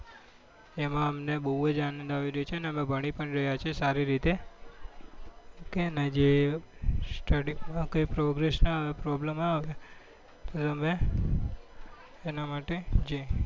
તેમાં અમને બઉ જ આનંદ આવી રહ્યો છે અને અમે ભણી પણ રહ્યા છીએ સારી રીતે કે ને જે study માં કઈ progress માં problem આવે અમે એના માટે